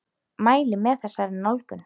Mæli með þessari nálgun!